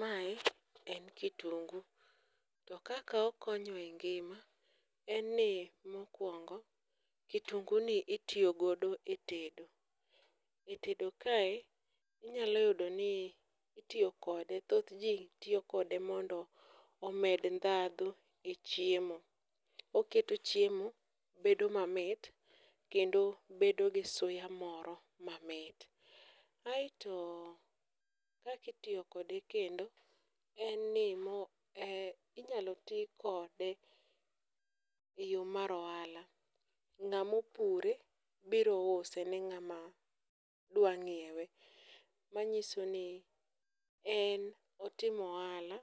Mae en kitungu to kaka okonyo e ngima en ni mokwongo kitunguni itiyo godo e tedo,e tedo kae inyalo yudo ni itiyo kode, thoth ji tiyo kode mondo omed ndhadhu e chiemo, oketo chiemo bedo mamit kendo bedo gi suya moro mamit. aeto kaka itiyo kode kendo en ni inyalo ti kode e yo mar ohala ,ng'amo pure biro use ni ng'ama dwa ng'iewe, manyiso ni en otimo ohala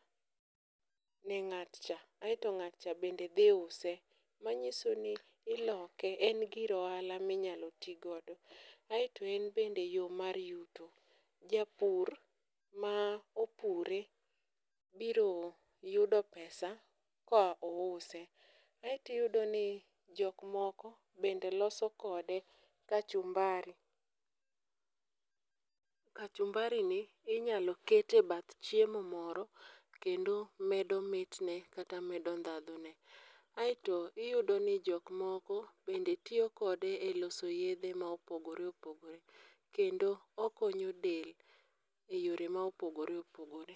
ne ng'atcha, aeto ng'atcha bende dhi uso, manyiso ni iloke, en gir ohala minyalo ti godo, aeto en bende yo mar yuto. japur ma opure biro yudo pesa ka ouse, aeto iyudno ni jok moko be loso kode kachumbari, kachumbari ni inyalo ket e bath chiemo moro kendo medo mitne kata medo ndhadhu ne aeto iyudo ni jokmoko bende tiyo kode e loso yedhe ma opogore opogore kendo okonyo del e yore ma opogore opogore.